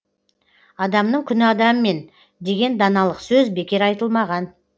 адамның күні адаммен деген даналық сөз бекер айтылмаған